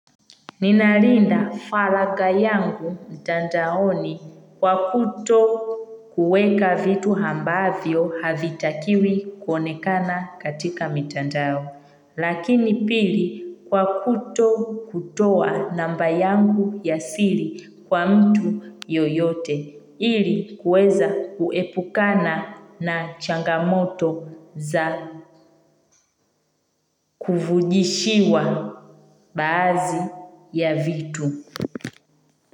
Ninalinda faraga yangu mitandaoni kwa kutokuweka vitu ambavyo havitakiwi konekana katika mitandao. Lakini pili, kwa kutokutoa namba yangu ya siri kwa mtu yoyote. Ili kuweza kuepukana na changamoto za kuvujishiwa baazi ya vitu.